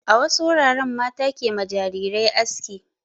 A wasu wuraren mata ke ma jarirai aski.